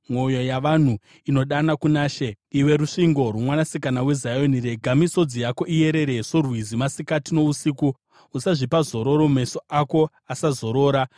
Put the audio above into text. Mwoyo yavanhu inodana kuna She. Iwe rusvingo rwoMwanasikana weZioni, rega misodzi yako iyerere sorwizi masikati nousiku; usazvipa zororo, meso ako asazorora.